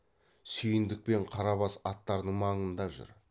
сүйіндік пен қарабас аттардың маңында жүр